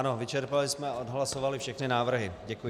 Ano, vyčerpali jsme a odhlasovali všechny návrhy.